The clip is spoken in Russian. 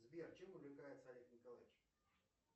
сбер чем увлекается олег николаевич